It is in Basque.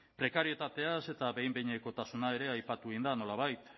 prekarietatea eta behin behinekotasuna ere aipatu egin da nolabait